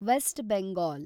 West Bengal